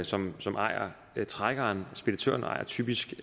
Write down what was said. som som ejer trækkeren speditøren ejer typisk